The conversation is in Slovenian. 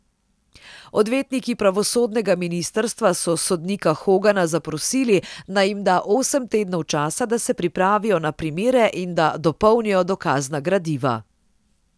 Odvetniki pravosodnega ministrstva so sodnika Hogana zaprosili, naj jim da osem tednov časa, da se pripravijo na primere in da dopolnijo dokazna gradiva.